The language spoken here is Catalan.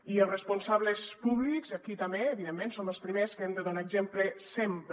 i els responsables públics aquí també evidentment som els primers que hem de donar exemple sempre